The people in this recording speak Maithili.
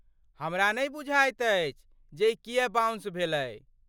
हमरा नै बुझाइत अछि जे ई किए बाउंस भेलै?